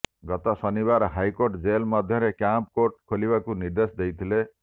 ଗତ ଶନିବାର ହାଇକୋର୍ଟ ଜେଲ ମଧ୍ୟରେ କ୍ୟାମ୍ପ କୋର୍ଟ ଖୋଲିବାକୁ ନିର୍ଦ୍ଦେଶ ଦେଇଥିଲେ